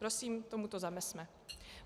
Prosím tomuto zamezme.